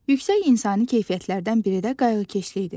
Yüksək insani keyfiyyətlərdən biri də qayğıkeşlikdir.